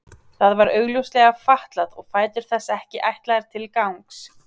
Það var augljóslega fatlað og fætur þess ekki ætlaðir til gangs.